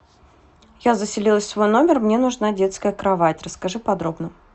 я заселилась в свой номер мне нужна детская кровать расскажи подробно